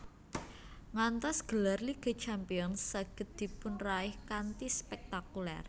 Ngantos gelar Liga Champions saged dipunraih kanthi spektakuler